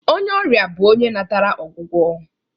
Onye ọrịa bụ onye natara ọgwụgwọ